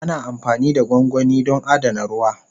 Ana amfani da gwangwani don adana ruwa.